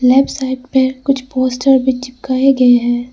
Left side में कुछ poster भी चिपकाए गए हैं।